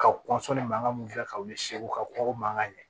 Ka kɔn ni mankan min kɛ ka wuli segu ka kɔkɔ mankan ye